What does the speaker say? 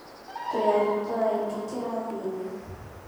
Twĩ arutwo aingĩ kĩrathi-inĩ.